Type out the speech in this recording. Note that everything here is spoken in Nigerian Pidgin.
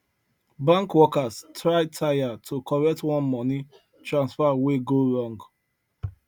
bank workers try tire to correct one money transfer wey go wrong